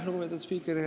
Lugupeetud spiiker!